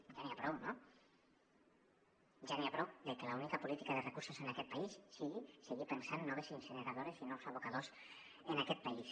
ja n’hi ha prou no ja n’hi ha prou de que l’única política de recursos en aquest país sigui seguir pensant noves incineradores i nous abocadors en aquest país